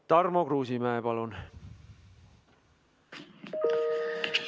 Tarmo Kruusimäe, palun!